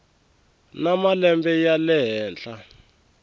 na malembe ya le henhla